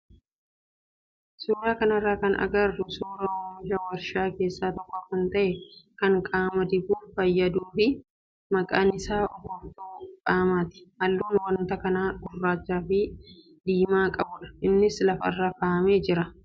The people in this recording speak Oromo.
Suuraa kanarraa kan agarru suuraa oomisha warshaa keessaa tokko kan ta'e kan qaama dibuuf fayyaduu fi maqaan isaa urgooftuu qaamaati. Halluun wanta kanaa gurraachaa fi diimaa qabudha. Innis lafarra kaa'amee jira.